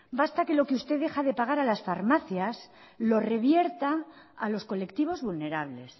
basta que lo que usted deja de pagar a las farmacias lo revierta a los colectivos vulnerables